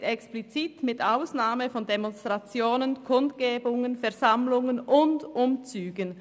SV steht explizit «mit Ausnahme von Demonstrationen, Kundgebungen, Versammlungen und Umzügen».